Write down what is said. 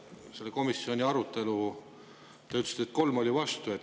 Te ütlesite, et selle komisjoni arutelu oli 3 vastu.